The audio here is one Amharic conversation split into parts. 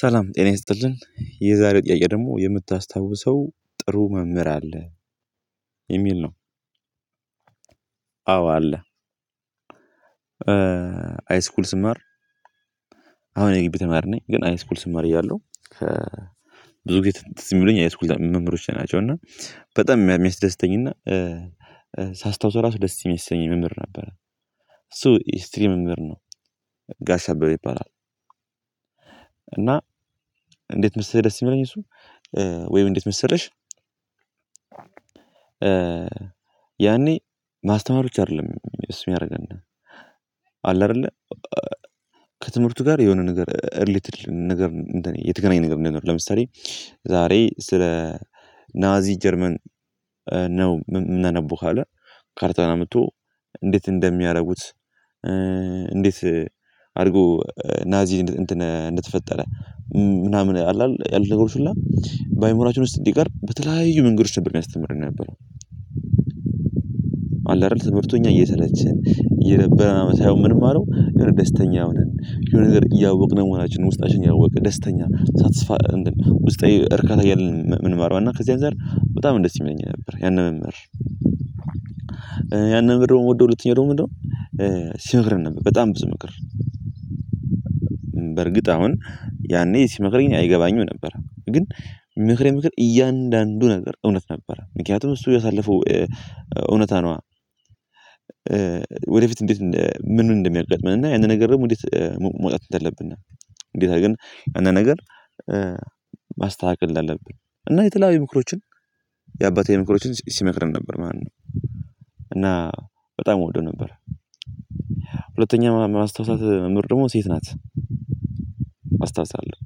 ሰላም ጤና ይስጥልኝ። የዛሬው ጥያቄ ደግሞ የምታስታውሰው ጥሩ መምህር አለ? የሚል ነው፣ አዎ አለ። ሀይስኩል ስማር፣ አሁን የግቢ ተማሪ ነኝ፣ ግን ሀይስኩል ስማር እያለሁ ብዙ ጊዜ ትዝ የሚሉኝ ሀይስኩል መምህሮቼ ናቸው እና በጣም የሚያስደስተኝ እና ሳስታውሰው ራሱ ደስ የሚሰኝ መምህር ነበር። እሱ ሂስትሪ መምህር ነው። ጋሽ አበበ ይባላል። እና እንዴት መሰለህ ደስ የሚለኝ እሱ? ወይም እንዴት መሰለሽ? ያኔ ማስተማ ብቻ አይደለም እሱ የሚያደረገን። አለ አይደለ? ከትምህርቱ ጋር የሆነ ነገር ርሌትድ ነገር፣ እንደ የተገናኘ ነገር ነገር ለምሳሌ ዛሬ ስለ ናዚ ጀርመን ነው የምናነበው ካለ ካርተን አምጥቶ እንዴት እንደሚያደርጉት፣ እንዴት አድርጎ ናዚ እንትን እንደተፈጠረ፣ ምናምን አለ? ያሉት ነገሮች ሁሉ በአእምሮአችን ውስጥ እንዲቀር በተለያዩ መንገድ ጭምር የሚያስተምረን ነበር። አለ አይደል ትምህርቱን እኛ እየሰለችን እየደበረን ሳይሆን የሚንማረው፣ የሆነ ደስተኛ ነን፣ የሆነ ነገር እያወቅን ነው መሆናችንን ውስጣችን ያወቅን፣ ደስተኛ፣ ሳትስፋ፤ ውስጣዊ እርካታ እያለን ምንማረው እና ከዚያ አንፃር በጣም ደስ የሚለኝ ነበር ያንን መምህር። ያንን መምህር ደግሞ የምወደው ሁለተኛውደግሞ ምንድነው? ሲመክርም ነበር በጣም ብዙ ምክር። በእርግጥ አሁን ያኔ ሲመክሬኝ አይገባኝም ነበር። ግን የሚመክረኝ ምክር እያንዳንዱ ነገር እውነት ነበረ። ምክንያቱም እሱ ያሳለፈው እውነታ ነዋ። ወደፊት እንዴት፣ ምኑን እንደሚያጋጥመን እና ያንን ነገር ደግሞ እንዴት መውጣት እንደሌለብን፣ እንዴት ግን አንዴት አርገን፣ አንዳንድ ነገር ማስተካከል እንዳለብን እና የተለያዩ ምክሮችን የአባታዊ ምክሮችን ሲመክርን ነበር ማለት ነው። እና በጣም እወደው ነበረ። ሁለተኛ ማስታወሳት ምርምር ደግሞ ሴት ናት። አስታውሳለሁ።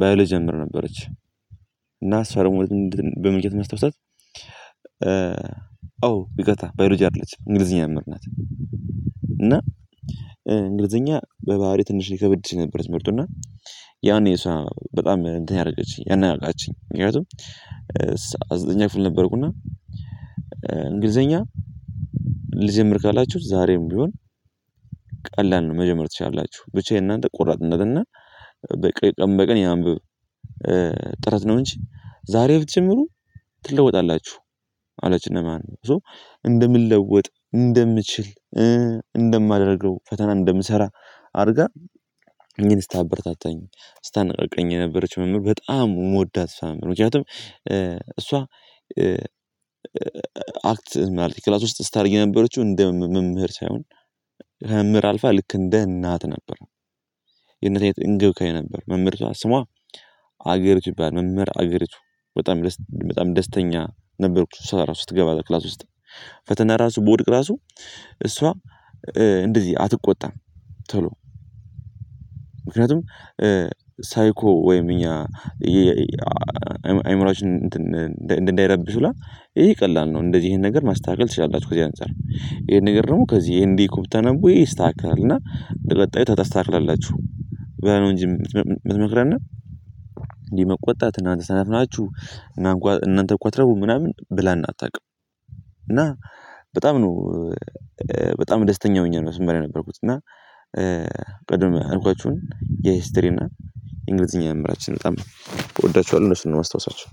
ብዮሎጂ መምህር ነበረች እና እሷን ደግሞ በምን ነበር ማስታውሳት? ኦ ይቅርታ ባዮሎጂ አይደለችም፣ እንግሊዝኛ መምህር ናት። እና እንግሊዝኛ በባህሪ ትንሽ ይከበድ ነበር ትምህርቱ እና ያኔ እሷ በጣም እንትን ያደረገችኝ። ያነቃቃችኝ። ምክንያቱም ዘጠነኛ ክፍል ነበርኩ እና እንግሊዘኛ ልጀምር ካላችሁ ዛሬም ቢሆን ቀላል ነው መጀመር ትችላላችሁ። ብቻ የእናንተ ቆራጥነት እና በቃ ቀን በቀን ይሄንን አንብብ ጥረት ነው እንጂ፣ ዛሬ ብትጀምሩ ትለወጣላችሁ አላችና ማለት ነው። ሶ እንደምንለወጥ፣ እንደምችል፣ እንደማደርገው፣ ፈተና እንደምሰራ አድርጋ እኔን ስታበርታታኝ፣ ስታነቅቀኝ የነበረችው ነንህር፣ በጣም የምወዳት እሷን መምህር። ምክንያቱም እሷ አክት ማለቴ ክላስ ውስጥ ስታደረግ የነበረችው እንደ መምህር ሳይሆን፣ ከመምህር አልፋ ልክ እንደ እናት ነበረ። የእነዚህ ተወካይ ነበር መምህርቷ ስሟ አገረቱ ትባላል መምህር አገርቱ። በጣም፣ በጣም ደስተኛ ነበርኩት እሷ ራሱ ስትገባ ክላስ ውስጥ። ፈተና ራሱ በወድቅ ራሱ እሷ እንደዚህ አትቆጣም ቶሎ። ምክንያቱም ሳይኮ ወይም እኛ አእምሮአችን እንዳይረብሽ ይላል ይሄ ቀላል ነው እንደዚህ ይሄን ነገር ማስተካከል ትችላላችሁ ከዚህ አንፃር። ይሄን ነገር ደግሞ ከዚህ ይሄን እንዲህ ብታነቡ ይሄ ይስተካከላልና በቀጣዩ ታስተካክላላችሁ ብላ ነው እንጂ የምትመክረን፣ እንዲህ መቆጣት፣ እናንተ ሰነፍ ናችሁ፣ እናንተኮ አትረቡም ምናምን ብላን አታውቅም። እና በጣም ነው፣ በጣም ደስተኛ ሆኘ ነው ስማር የነበርኩት። እና ቅድም ያልኳችሁን የሂስትሪ እና የእንግሊዝኛ መምህራችን በጣም እወዳቸዋለሁ። እነሱን ነው የማስታውሳቸው።